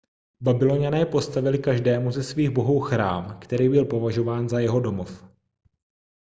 babyloňané postavili každému ze svých bohů chrám který byl považován za jeho domov